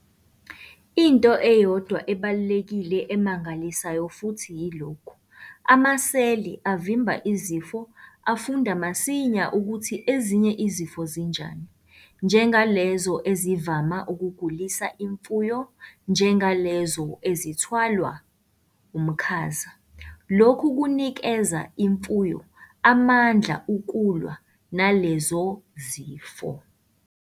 Into eyodwa ebalulekile emangalisayo futhi yilokhu- amaseli avimba izifo afunda masinya ukuthi ezinye izifo zinjani, njengalezo ezivama ukugulisa imfuyo njengalezo ezithwalwa umkhaza. Lokhu kunikeza imfuyo amandla ukulwa nalezo zifo.